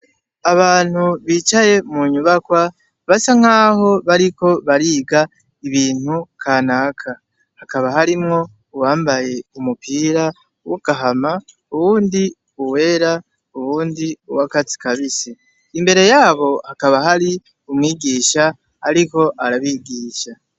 Abantu bicaye munyubakwa basa nkaho bariko bariga ibintu kanaka ,hakaba hariho uwambaye umupira usa n'agahama, uwundi uwera, uwundi uwakatsi kibisi, imbere yabo hakaba hari umwigisha ariko arabigisha.